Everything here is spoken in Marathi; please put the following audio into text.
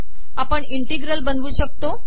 आपण इंटीगल बनवू शकतो